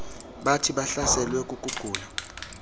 bathi bahlaselwe kukugula